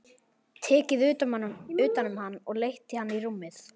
Tekið utan um hann og leitt hann í rúmið.